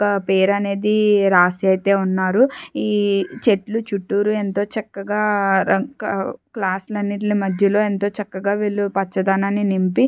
ఒక పేరు అనేది రాసి అయితే ఉన్నారు ఈ చెట్లు చుట్టూరు ఎంతో చక్కగా ర-కా- మధ్యలో ఎంతో చక్కగా వీల్లు పచ్చదనాన్ని నింపి--